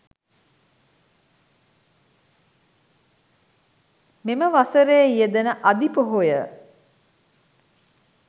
මෙම වසරේ යෙදෙන අධි පොහොය